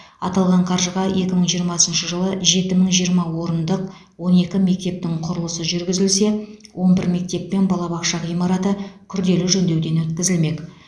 аталған қаржыға екі мың жиырмасыншы жылы жеті мың жиырма орындық он екі мектептің құрылысы жүргізілсе он бір мектеп пен балабақша ғимараты күрделі жөндеуден өткізілмек